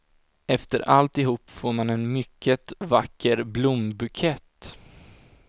Efter alltihop får man en mycket vacker blombukett.